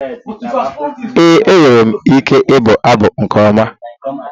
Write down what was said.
Ee, enwere m ike ịbụ abụ nke ọma